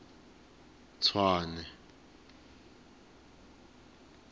tshwane